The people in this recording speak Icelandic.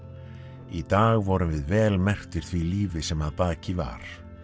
í dag vorum við vel merktir því lífi sem að baki var